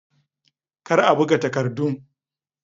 Kar a buga takardun.